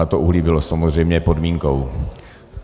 A to uhlí bylo samozřejmě podmínkou.